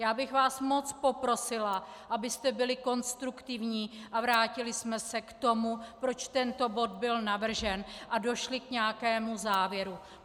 Já bych vás moc poprosila, abyste byli konstruktivní a vrátili jsme se k tomu, proč tento bod byl navržen, a došli k nějakému závěru.